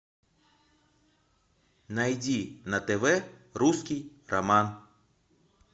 найди на тв русский роман